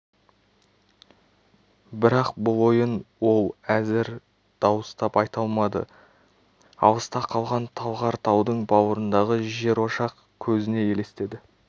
бірақ бұл ойын ол әзір дауыстап айта алмады алыста қалған талғар таудың бауырындағы жерошақ көзіне елестеді